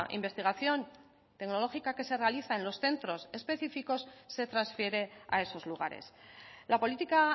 investigación tecnológica que se realiza en los centros específicos se transfiere a esos lugares la política